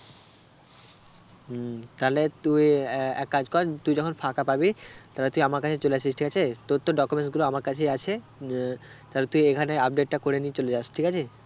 উম তাহলে তুই এ~ এক কাজ কর তুই যখন ফাঁকা পাবি তাহলে তুই আমার কাছে চলে আসিস ঠিক আছে? তোর তো documents গুলো আমার কাছেই আছে যে আহ তাহলে তুই এখানে update টা করে নিয়ে চলে যাস ঠিক আছে?